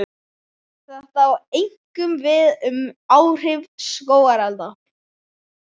Þetta á einkum við um áhrif skógarelda.